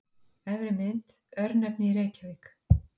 Efri mynd: Örnefni í Reykjavík.